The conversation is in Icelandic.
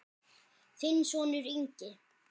Þinn sonur, Ingi.